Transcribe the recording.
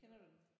Kender du den?